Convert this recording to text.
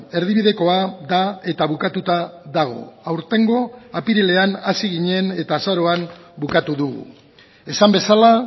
erdibidekoa da eta bukatuta dago aurtengo apirilean hasi ginen eta azaroan bukatu dugu esan bezala